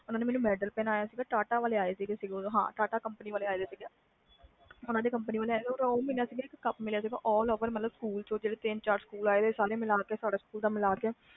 ਓਹਨਾ ਨੇ ਮੈਨੂੰ gold medal ਪਹਿਨਾਇਆ ਸੀ ਟਾਟਾ ਕੰਪਨੀ ਵਾਲੇ ਆਏ ਸੀ ਤੇ ਇਕ ਕਪ ਮਿਲਿਆ ਸੀ all over ਸਾਰੇ ਸਕੂਲ ਵਿੱਚੋ ਜਿੰਨੇ ਵੀ ਸਕੂਲ ਆਏ ਸੀ